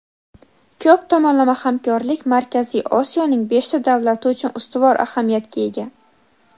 ko‘p tomonlama hamkorlik Markaziy Osiyoning beshta davlati uchun ustuvor ahamiyatga ega.